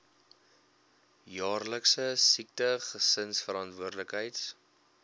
jaarlikse siekte gesinsverantwoordelikheids